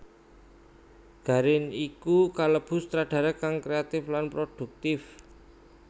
Garin iku kalebu sutradara kang kréatif lan produktif